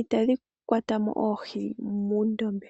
itadhi kwatamo oohi muundombe.